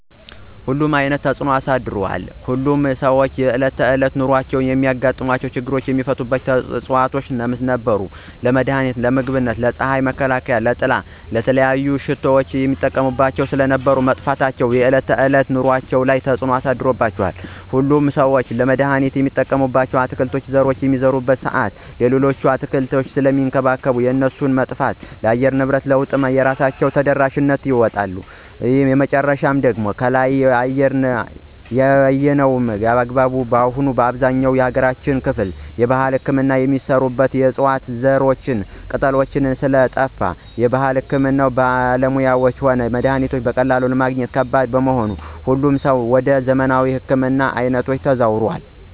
ሁሉንም አይነት ተፅኖ አሳድሯል። ሁሉም ሰዎች በእለት ተዕለት ኑሯቸው የሚያጋጥሙ ችግሮችን የሚፈቱባቸው ዕፅዋቶች ለምሳሌ :- ለመድሀኒትነት, ለምግብነት, ለፅሀይ መከላከያነት/ጥላ/,ለተለያዩ ሽቶዎች ይጠቀሙባቸው ስለነበር መጥፋታቸው በዕለት ከዕለት ኑሮአቸው ላይ ተፅዕኖ ተፈጥሮባቸዋል። ሁሉም ሠው ለመድሀኒትነት የሚጠቀምባቸውን የአትክልት ዘሮች በሚዘራበት ሰአት ሌሎችን አትክልቶች ስለሚንከባከብ የእነሱ መጥፋት ለአየር ንብረት ለውጡ የራሳቸውን ድርሻ ይወጣሉ። ሶስተኛውና የመጨረሻው ደግሞ ከላይ በአየነው አግባብ አሁን በአብዛኛው የሀገራችን ክፍል የባህል ህክምና የሚሰራበት የዕፅዋት ዘሮችና ቅጠሎች ስለጠፍ የባህል ህክምና ባለሙያዎችም ሆነ መድሀኒቶች በቀላሉ ለማግኘት ከባድ በመሆኑ ሁሉም ሰው ወደ ዘመናዊ ህክምና አይኑን አዞሯል።